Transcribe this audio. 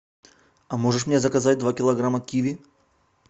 а можешь мне заказать два килограмма киви